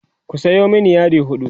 ku Sayo mani yadi huɗu